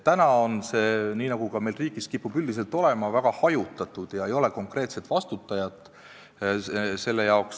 Täna on see valdkond, nii nagu meil riigis kipub üldiselt olema, väga hajutatud ja selle eest ei ole konkreetset vastutajat.